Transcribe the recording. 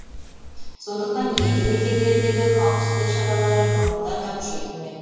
сондықтан елді мекендердегі қауіпсіздік шаралары бұрынғыдан да күшейтілмек